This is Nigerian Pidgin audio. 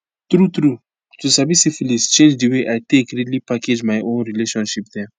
true true to sabi syphilis change the way i take really package my own relationship dem